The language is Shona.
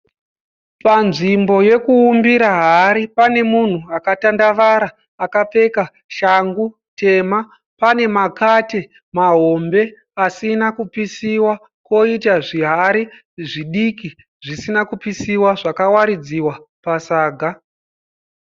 Panzvimbo yokuumbira hari pane munhu akatandavara akapfeka shangu tema. Pane makate mahombe asina kupisiwa koita zvihari zvidiki zvisina kupisiwa zvakawaridziwa pasaga.